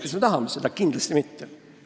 Kas me tahaksime seda?